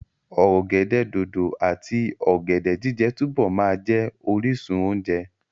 Ọ̀gẹ̀dẹ̀ dòdò àti ọ̀gẹ̀dẹ̀ jíjẹ túbọ̀ máa jẹ́ orísun oúnjẹ.